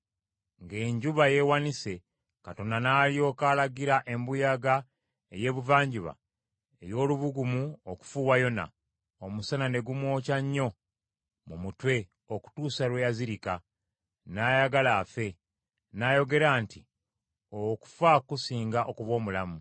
Ng’enjuba yeewanise, Katonda n’alyoka alagira embuyaga ey’Ebuvanjuba ey’olubugumu okufuuwa Yona, omusana ne gumwokya nnyo mu mutwe okutuusa lwe yazirika. N’ayagala afe. N’ayogera nti, “Okufa kusinga okuba omulamu.”